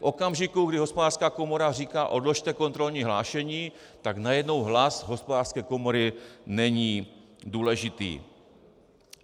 V okamžiku, kdy Hospodářská komora říká: odložte kontrolní hlášení, tak najednou hlas Hospodářské komory není důležitý.